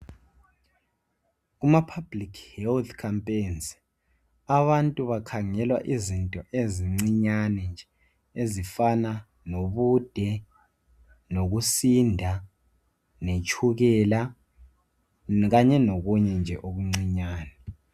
Kuma "public health campaigns" abantu bakhangelwa izinto ezincinyane nje ezifana lobude, lokusinda letshukela kanye lokunye nje okuncinyane.